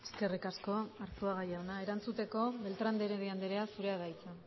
eskerrik asko arzuaga jauna erantzuteko beltrán de heredia andrea zurea da hitza